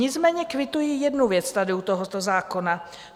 Nicméně kvituji jednu věc tady u tohoto zákona.